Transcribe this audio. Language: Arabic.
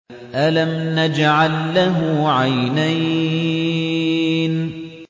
أَلَمْ نَجْعَل لَّهُ عَيْنَيْنِ